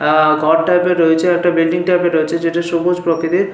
আহ ঘর টাইপের রয়েছে। একটা বিল্ডিং টাইপের রয়েছে। যেটা সবুজ প্রকৃতির।